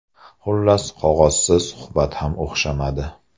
Xullas, qog‘ozsiz, suhbat ham o‘xshamadi.